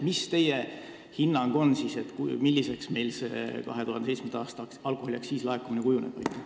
Mis teie hinnang on, kui suureks meil 2017. aasta alkoholiaktsiisi laekumine kujuneb?